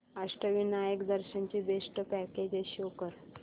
अष्टविनायक दर्शन ची best packages show कर